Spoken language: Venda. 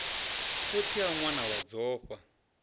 khotsi a ṅwana wa dzofha